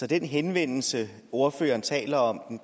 den henvendelse ordføreren taler om